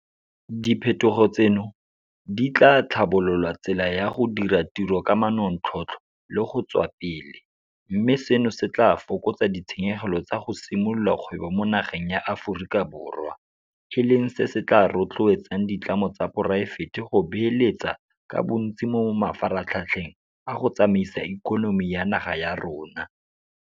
Diphetogo tseno di tla tlhabolola tsela ya go dira tiro ka manontlhotlho le go tswa pele, mme seno se tla fokotsa ditshenyegelo tsa go simolola kgwebo mo nageng ya Aforika Borwa, e leng se se tla rotloetsang ditlamo tsa poraefete go beeletsa ka bontsi mo mafaratlhatlheng a go tsamaisa ikonomi ya naga ya rona.